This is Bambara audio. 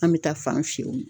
An be taa fan fiyɛ yen nɔ